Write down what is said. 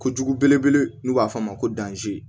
Kojugu belebele n'u b'a fɔ a ma ko danzi